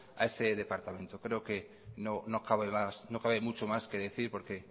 a ese departamento creo que no cabe mucho más que decir porque